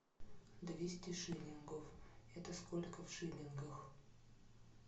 двести шиллингов это сколько в шиллингах